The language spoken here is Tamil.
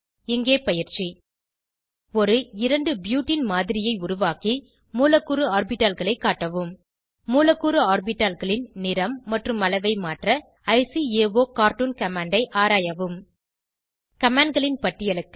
இங்கே பயிற்சி ஒரு 2 ப்யூட்டீன் மாதிரியை உருவாக்கி மூலக்கூறு ஆர்பிட்டால்களை காட்டவும் மூலக்கூறு ஆர்பிட்டால்களின் நிறம் மற்றும் அளவை மாற்ற ல்காகார்ட்டூன் கமாண்ட் ஐ ஆராயவும் commandகளின் பட்டியலுக்கு